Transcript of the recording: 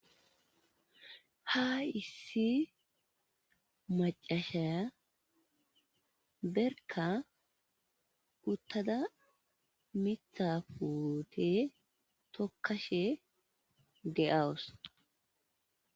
Ha issi maccasha berkka uththada miththaa puuthe thokkashe de7awus.